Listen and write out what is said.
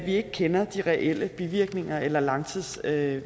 ikke kender de reelle bivirkninger eller langtidsvirkninger af